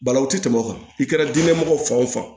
Balawu tɛ tɛmɛ o kan i kɛra diinɛ mɔgɔ fan o fan